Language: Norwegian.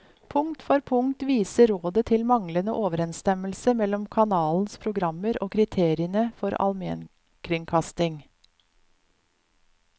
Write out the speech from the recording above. Punkt for punkt viser rådet til manglende overensstemmelse mellom kanalens programmer og kriteriene for almenkringkasting.